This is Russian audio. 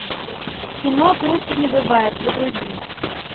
кино круче не бывает загрузи